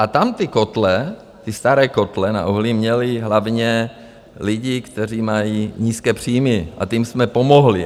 A tam ty kotle, ty staré kotle na uhlí měli hlavně lidi, kteří mají nízké příjmy a těm jsme pomohli.